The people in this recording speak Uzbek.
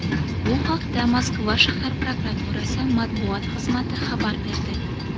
Bu haqda Moskva shahar prokuraturasi matbuot xizmati xabar berdi .